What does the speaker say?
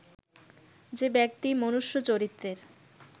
যে ব্যক্তি মনুষ্য-চরিত্রের